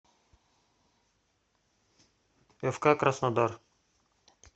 фк краснодар